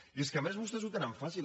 i és que a més vostès ho tenen fàcil